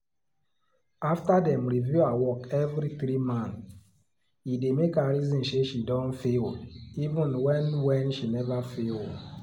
after dem review her work every 3 months e dey make her reason say she don fail even when when she never fail